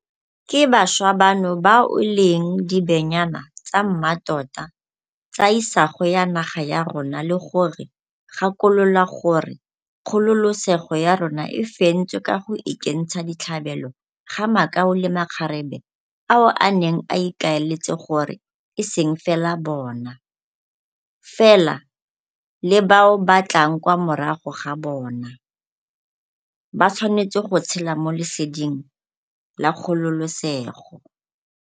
Ke bašwa bano bao e leng dibenyane tsa mmatota tsa isago ya naga ya rona le go re gakolola gore kgololesego ya rona e fentswe ka go ikentsha ditlhabelo ga makau le makgarebe ao a neng a ikaeletse gore eseng fela bona, fela le bao ba tlang kwa morago ga bona, ba tshwanetse go tshela mo leseding la kgololesego.